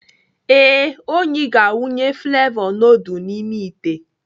Ee, Onyi ga-awụnye flevọ nudul n'ime ite.